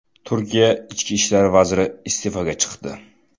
Turkiya ichki ishlar vaziri iste’foga chiqdi.